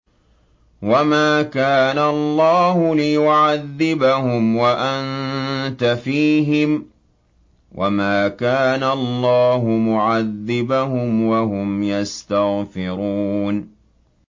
وَمَا كَانَ اللَّهُ لِيُعَذِّبَهُمْ وَأَنتَ فِيهِمْ ۚ وَمَا كَانَ اللَّهُ مُعَذِّبَهُمْ وَهُمْ يَسْتَغْفِرُونَ